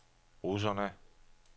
russerne